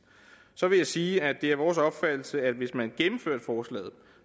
så vil jeg sige at det er vores opfattelse at hvis man gennemførte forslaget